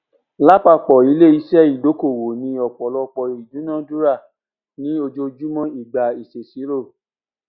lápapọ iléiṣẹ ìdókòwò ni ọpọlọpọ ìdúnadúrà ní ojoojúmọ ìgbà ìṣèṣirò